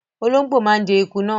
Ológbò máa ń jẹ eku náà.